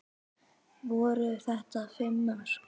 Voru þetta fimm mörk?